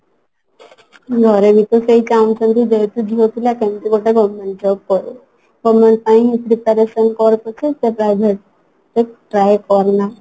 ମୋର ବି ତ ସେଇ କାମ ସବୁ ଯେହେତୁ ଝିଅପିଲା କେମତି ଗୋଟେ government job ହଉ government ପାଇଁ preparation କର ପଛେ ସେ private ରେ try କରନା